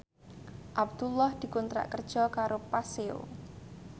Abdullah dikontrak kerja karo Paseo